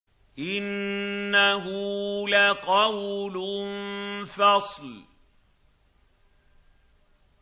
إِنَّهُ لَقَوْلٌ فَصْلٌ